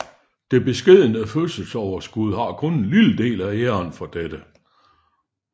Det beskedne fødselsoverskud har kun en lille del af æren for dette